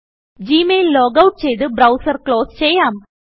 G mail logout ചെയ്ത് browser close ചെയ്യാം